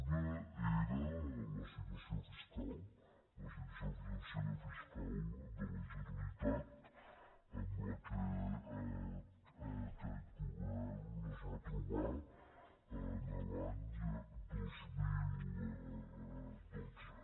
una era la situació fiscal la situació financera fiscal de la generalitat amb la qual aquest govern es va trobar l’any dos mil dotze